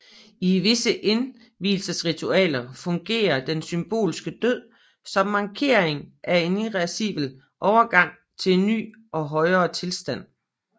I visse indvielsesritualer fungerede den symbolske død som markering af en irreversibel overgang til en ny og højere tilstand